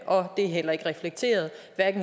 og det er heller ikke reflekteret